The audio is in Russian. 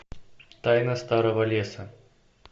тайна старого леса